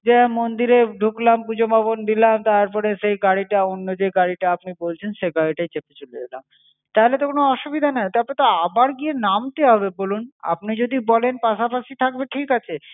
মন্দিরে ঢুকলাম পুজো পার্বণ দিলাম, তারপরে সেই গাড়িটা অন্য যে গাড়িটা আপনি বলছেন, সেই গাড়িটায় চেপে চলে এলাম। তাহলে তো কোনো অসুবিধা নাই? তারপর তো আবার গিয়ে নামতে হবে বলুন? আপনি যদি বলেন পাশপাশি থাকবে ঠিক আছে,